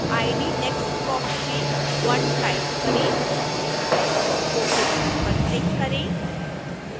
id text box में 1 type करें ok button पर क्लिक करें